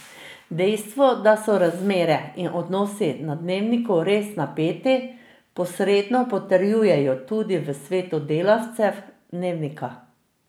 Dejstvo, da so razmere in odnosi na Dnevniku res napeti, posredno potrjujejo tudi v svetu delavcev Dnevnika.